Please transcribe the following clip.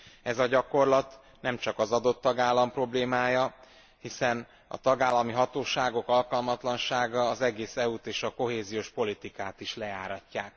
Ez a gyakorlat nem csak az adott tagállam problémája, hiszen a tagállami hatóságok alkalmatlansága az egész EU t és a kohéziós politikát is lejáratja.